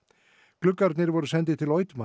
gluggarnir voru sendir til